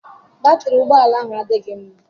Batrị ụgbọ ala ahụ adịghị mma.